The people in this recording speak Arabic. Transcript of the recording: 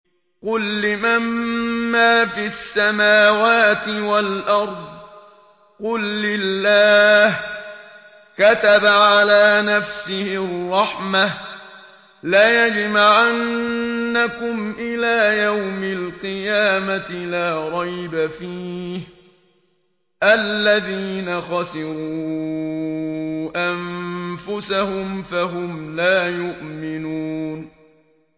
قُل لِّمَن مَّا فِي السَّمَاوَاتِ وَالْأَرْضِ ۖ قُل لِّلَّهِ ۚ كَتَبَ عَلَىٰ نَفْسِهِ الرَّحْمَةَ ۚ لَيَجْمَعَنَّكُمْ إِلَىٰ يَوْمِ الْقِيَامَةِ لَا رَيْبَ فِيهِ ۚ الَّذِينَ خَسِرُوا أَنفُسَهُمْ فَهُمْ لَا يُؤْمِنُونَ